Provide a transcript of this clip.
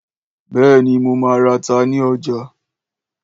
Béèni, mo má rata ní ọjà.